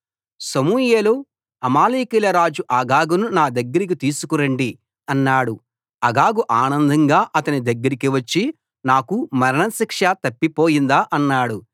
సమూయేలు అమాలేకీయుల రాజు అగగును నా దగ్గరికి తీసుకు రండి అన్నాడు అగగు ఆనందంగా అతని దగ్గరకి వచ్చి నాకు మరణ శిక్ష తప్పిపోయిందా అన్నాడు